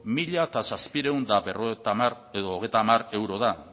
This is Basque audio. mila zazpiehun eta hogeita hamar euro da